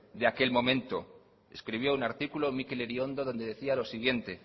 de aquel momento escribió un artículo mikel iriondo donde decía lo siguiente